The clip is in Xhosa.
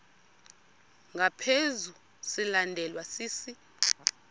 ngaphezu silandelwa sisi